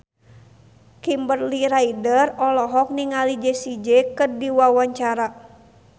Kimberly Ryder olohok ningali Jessie J keur diwawancara